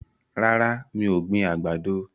Rárá, mi ò gbin àgbàdo.